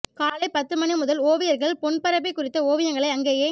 காலை பத்து மணி முதல் ஓவியர்கள் பொன்பரப்பி குறித்த ஓவியங்களை அங்கேயே